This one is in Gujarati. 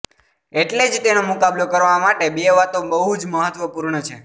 એટલે તેનો મુકાબલો કરવા માટે બે વાતો બહુ જ મહત્વપૂર્ણ છે